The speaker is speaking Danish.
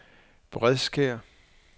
Bredkær